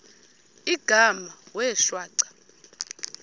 igama wee shwaca